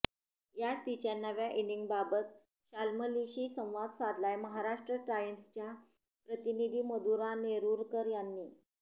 याच तिच्या नव्या इनिंगबाबत शाल्मलीशी संवाद साधलाय महाराष्ट्र टाइम्सच्या प्रतिनिधी मधुरा नेरुरकर यांनी